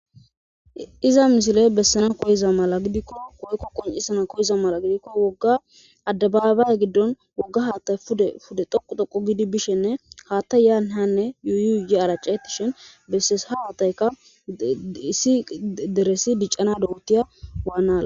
iza misile bessana koyiza mala gidikko woykko qonisana koyiza mala gidikko wogga addabaabay giddon wogga haattay ude fude thoqu toqu gidi bishenne haattay yaahanne yuuyuye aracetishin bessesha haattayka issi deresi diccana dohutiya waannaa